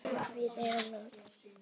Flott sagði Örn feginn.